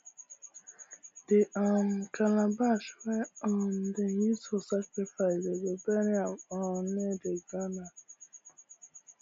the um calabash wey um dem use for sacrifice dem go bury um am near the granary